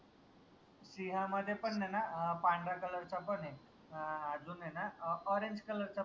सिंहा मध्ये पन आय न पांढऱ्या color चा पन आय अजून आय न orangecolour चा